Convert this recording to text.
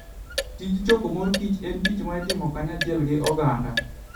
Tij choko mor kich en tich ma itimo kanyachiel gi oganda.